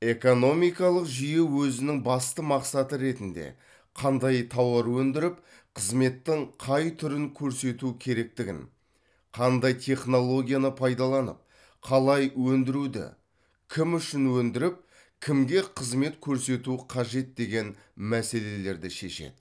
экономикалық жүйе өзінің басты мақсаты ретінде қандай тауар өндіріп қызметтің қай түрін көрсету керектігін қандай технологияны пайдаланып қалай өндіруді кім үшін өндіріп кімге қызмет көрсету қажет деген мәселелерді шешеді